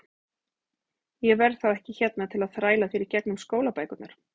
Ég verð þá ekki hérna til að þræla þér í gegnum skólabækurnar.